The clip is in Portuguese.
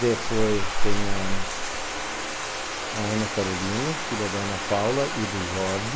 Depois tem a Ana Carolina, filha da Ana Paula e do Jordi.